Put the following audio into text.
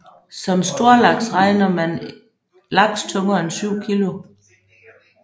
Som storlaks regner man laks tungere end syv kilo